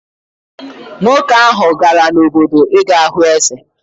Nwoke ahụ gara n’obodo ị ga hụ eze.